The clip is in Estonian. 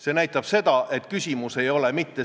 Ma lähen tagasi oma eelmise küsimuse ja sinu vastuse juurde.